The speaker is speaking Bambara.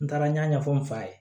N taara n y'a ɲɛfɔ n fa ye